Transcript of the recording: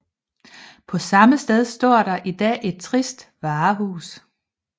På samme sted står der i dag et trist varehus